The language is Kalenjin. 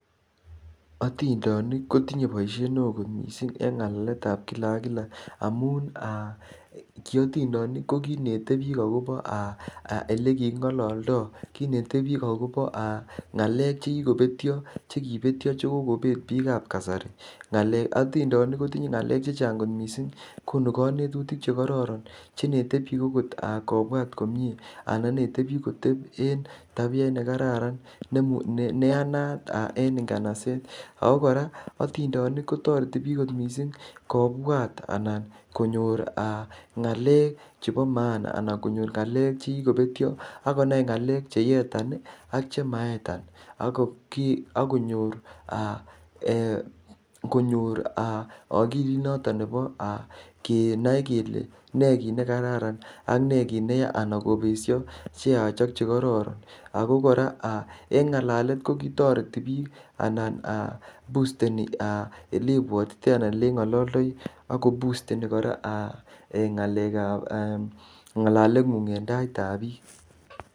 Otindonik kotinye boishet neo kot missing' en ngalaletab kila ak kila amun aa kiondindenik ko kinetebik aa akobo aa elekikingololdo kinetebik akobo aa ngalek chekikobetyo ,chekibetyo chekokobet bikab kasari otindonik kotinye ngalek chechang kot missing' konu konetutik chekororon chenetebik okot aa kobwat komie anan inete bik koteb en tabia neyanat aa en inganaset ako koraa otindonik kotoreti bik kot missing' kobwat aa anan konyor ngalek chebo maana ana konyor ngalek chekikobetyo akonai ngalek cheyetan ak chemayetan akonyor aa ee konyor okilitnoton nebo aa kenai kele ne kit nekararan ak nee ki neya anan kobesho cheyach ak chekororon ako koraa aa en ngalalet kotoreti bik anan aa busteni elebwotitoi anan elengololdoi akobusteni koraa ngalekab ee ngalalengung en taitab bik.